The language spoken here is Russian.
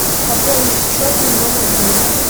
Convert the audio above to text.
пополнить счет моего мобильного